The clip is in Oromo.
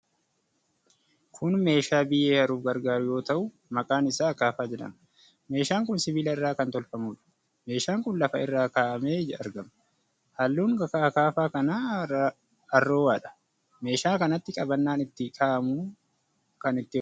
Kun meeshaa biyyee haruuf gargaaru yoo ta'u, maqaan isaa akaafaa jedhama. Meeshaan kun sibiila irraa kan tolfamuudha. Meeshaan kun lafa irra kaa'amee argama. Halluun akaafaa kana arroowadha. Meeshaa kanatti qabannaan itti kaa'amuun kan itti hojjatamuudha.